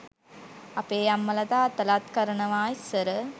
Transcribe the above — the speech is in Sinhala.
අපේ අම්මල තාත්තලත් කරනවා ඉස්සර